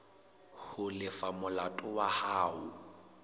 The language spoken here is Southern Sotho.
ho lefa molato wa hao